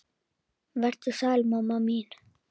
Vertu sæl, mamma mín.